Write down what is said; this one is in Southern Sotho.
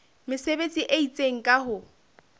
mesebetsi e itseng ka ho